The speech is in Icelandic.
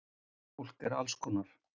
Fólk er allskonar